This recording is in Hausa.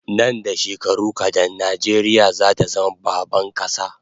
Nan da shekaru kadan Najeriya zata zama baban kasa